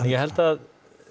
ég held að